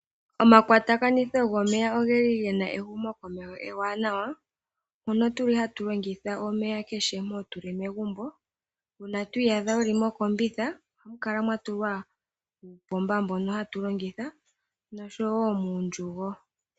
Omakwatakanitho gomeya ogeli gena ehumokomeho ewanawa mono tuli hatu longitha omeya kehe mpoka tuli megumbo. Uuna to iyadha wuli mokombitha ohamu kala mwa tulwa uupomba mbono hatu longitha oshowo muundjugo.